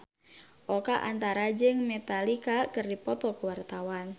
Oka Antara jeung Metallica keur dipoto ku wartawan